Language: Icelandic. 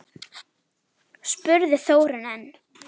spurði Þórunn enn.